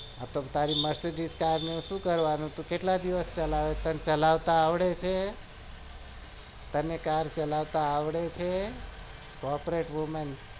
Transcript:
તારી mercedes car ને શું કરવાનું છે તને કેટલા દિવસ ચલાવતા આવડે છે car ચલાવતા આવડે છે corporate women